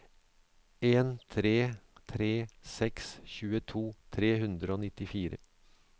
en tre tre seks tjueto tre hundre og nittifire